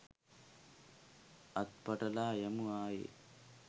අත් පටලා යමු ආයේ